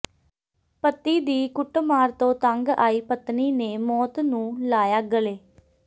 ਪਤੀ ਦੀ ਕੁੱਟਮਾਰ ਤੋਂ ਤੰਗ ਆਈ ਪਤਨੀ ਨੇ ਮੌਤ ਨੂੰ ਲਾਇਆ ਗਲੇ